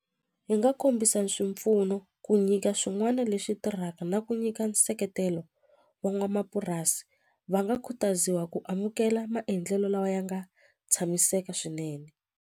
Hi nga kombisa swipfuno ku nyika swin'wana leswi tirhaka na ku nyika nseketelo wa n'wamapurasi va nga khutaziwa ku amukela maendlelo lawa ya nga tshamiseka swinene.